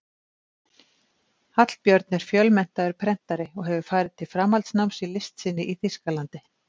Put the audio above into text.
Hallbjörn er fjölmenntaður prentari og hefur farið til framhaldsnáms í list sinni í Þýskalandi.